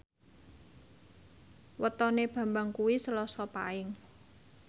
wetone Bambang kuwi Selasa Paing